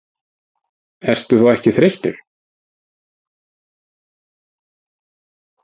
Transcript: Ertu þá ekki þreyttur?